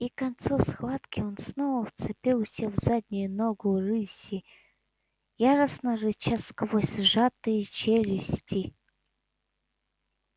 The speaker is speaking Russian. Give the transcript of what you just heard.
и к концу схватки он снова вцепился в заднюю ногу рыси яростно рыча сквозь сжатые челюсти